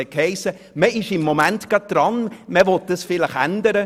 Es hiess, man sei im Moment gerade daran, und man wolle das vielleicht ändern.